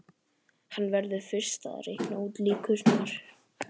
Hann verður fyrst að reikna út líkurnar.